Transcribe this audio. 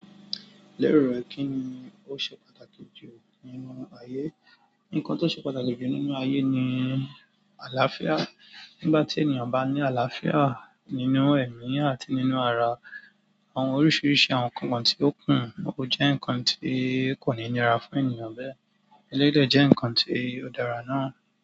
Lẹ́rù rẹ kí ni ó ṣe pàtàkì jù nínú ayé? Nńkan tó ṣe pàtàkì jù nínú ayé ni àlàáfíà. Nígbà tí ènìyàn bá ní àlàáfíà nínú ẹ̀mí àti nínú ara, àwọn oríṣiríṣi àwọn nǹkan wọ̀n tí ó kù ó jẹ́ nǹkan tí kò ní nira fún ènìyàn bẹ́ẹ̀. Elégèdè jẹ́ nǹkan tí ó dára náà.